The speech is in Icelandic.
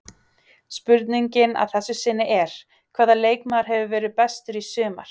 Spurningin að þessu sinni er: Hvaða leikmaður hefur verið bestur í sumar?